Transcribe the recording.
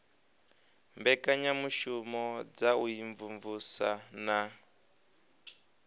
mbekanyamushumo dza u imvumvusa na